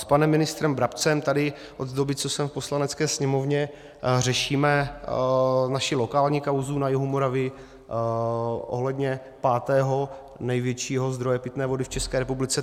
S panem ministrem Brabcem tady od doby, co jsem v Poslanecké sněmovně, řešíme naši lokální kauzu na jihu Moravy ohledně pátého největšího zdroje pitné vody v České republice.